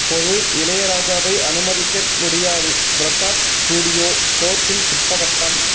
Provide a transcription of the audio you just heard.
பொது இளையராஜாவை அனுமதிக்க முடியாது பிரசாத் ஸ்டுடியோ கோர்ட்டில் திட்டவட்டம்